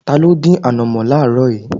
Ta ló dín ànọ̀mó láaaro yìí?